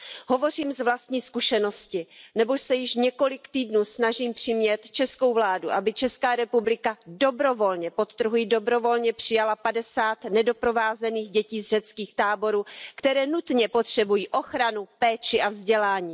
Hovořím z vlastní zkušenosti, neboť se již několik týdnů snažím přimět českou vládu, aby Česká republika dobrovolně, podtrhuji dobrovolně, přijala 50 nedoprovázených dětí z řeckých táborů, které nutně potřebují ochranu, péči a vzdělání.